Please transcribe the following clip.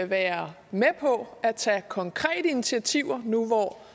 være med på at tage konkrete initiativer nu